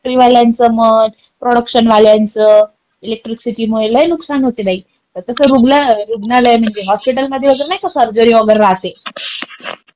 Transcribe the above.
फॅक्टरीवाल्यांचा म्हण, प्रोडक्शन वाल्यांचा इलेक्ट्रिसिटी मुळे लय नुकसान होते बाई. तसं रुग्ण -- रुग्णालय म्हणजे हॉस्पिटल वगैरे मध्ये नाही का सर्जरी वगैरे राहते.